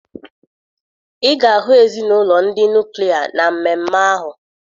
Ị ga-ahụ ezinụlọ ndị nuklia na mmemme ahụ